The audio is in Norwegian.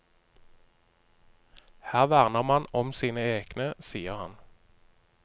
Her verner man om sine egne, sier han.